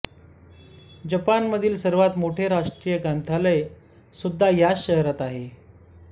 जपानमधील सर्वात मोठे राष्ट्रीय ग्रंथालय सुद्धा याच शहरात आहे